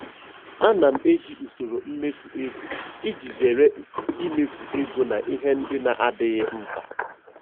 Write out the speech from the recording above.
Ana m eji usoro mmefu ego iji zere imefu ego na ihe ndị na-adịghị mkpa.